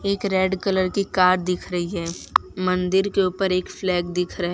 एक red colour की car दिख रही है मंदिर के ऊपर एक फ्लैग दिख रहा है।